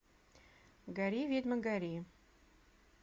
гори ведьма гори